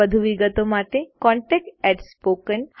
વધુ વિગતો માટે contactspoken tutorialorg પર સંપર્ક કરો